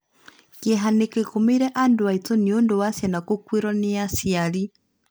Kĩeha nĩ kĩgũmĩire andũ aitũ nĩundũ wa ciana gũkuĩrwo nĩ aciari